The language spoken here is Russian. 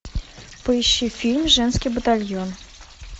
поищи фильм женский батальон